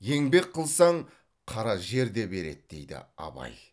еңбек қылсаң қара жер де береді дейді абай